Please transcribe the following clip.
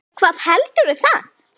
Hvað heldur það?